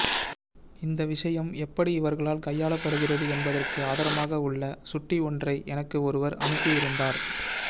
இந்த விஷயம் எப்படி இவர்களால் கையாளப்படுகிறது என்பதற்கு ஆதாரமாக உள்ள சுட்டி ஒன்றை எனக்கு ஒருவர் அனுப்பியிருந்தார்